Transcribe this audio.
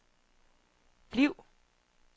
bliv